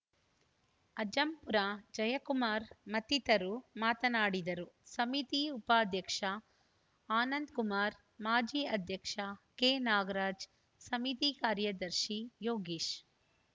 ಅಜ್ಜಂಪುರ ಜಯಕುಮಾರ್‌ ಮತ್ತಿತರರು ಮಾತನಾಡಿದರು ಸಮಿತಿ ಉಪಾಧ್ಯಕ್ಷ ಆನಂದಕುಮಾರ್‌ ಮಾಜಿ ಅಧ್ಯಕ್ಷ ಕೆನಾಗರಾಜ್‌ ಸಮಿತಿ ಕಾರ್ಯದರ್ಶಿ ಯೋಗೀಶ್‌